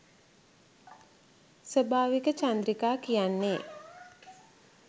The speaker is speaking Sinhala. ස්වාභාවික චන්ද්‍රිකා කියන්නේ